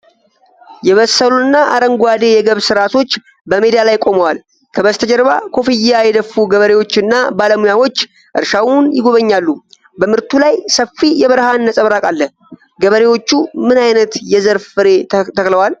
የበሰሉና አረንጓዴ የገብስ ራሶች በሜዳ ላይ ቆመዋል፤ ከበስተጀርባ ኮፍያ የደፉ ገበሬዎችና ባለሙያዎች እርሻውን ይጎበኛሉ። በምርቱ ላይ ሰፊ የብርሃን ነጸብራቅ አለ። ገበሬዎቹ ምን ዓይነት የዘር ፍሬ ተክለዋል?